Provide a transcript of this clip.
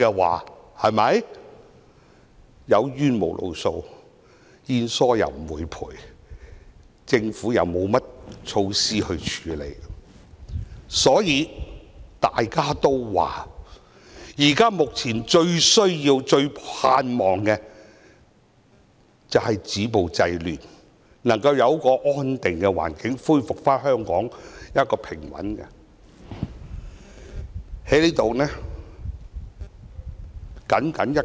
它們有冤無路訴，保險不承保，政府又沒有措施處理。正因如此，它們目前最需要、最盼望的是止暴制亂，香港能夠有一個安定的環境，恢復平穩。